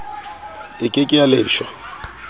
e ke ke ya leshwa